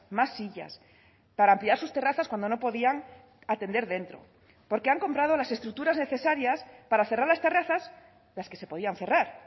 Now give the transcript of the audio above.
más sillas para ampliar sus terrazas cuando no podían atender dentro porque han comprado las estructuras necesarias para cerrar las terrazas las que se podían cerrar